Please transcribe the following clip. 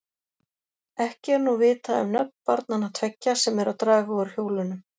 Ekki er nú vitað um nöfn barnanna tveggja, sem eru að draga úr hjólunum.